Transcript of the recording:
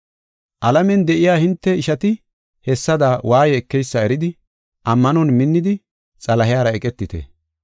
Alamen de7iya hinte ishati hessada waaye ekeysa eridi, ammanon minnidi, Xalahiyara eqetite.